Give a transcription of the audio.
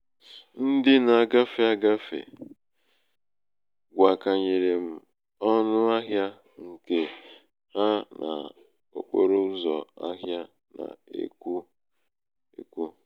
ndị nā-āgāfè um agafè gwàkànyèrè um agafè gwàkànyèrè m ọnụ̣ ahịā ṅ̀ke ha n’okporo ụzọ̀ um ahịā na-ekwōèkwò